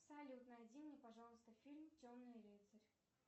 салют найди мне пожалуйста фильм темный рыцарь